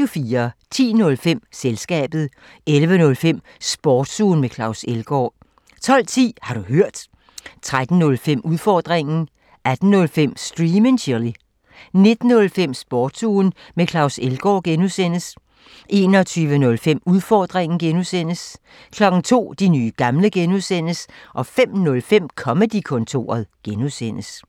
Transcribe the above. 10:05: Selskabet 11:05: Sportsugen med Claus Elgaard 12:10: Har du hørt? 13:05: Udfordringen 18:05: Stream and chill 19:05: Sportsugen med Claus Elgaard (G) 21:05: Udfordringen (G) 02:00: De nye gamle (G) 05:05: Comedy-kontoret (G)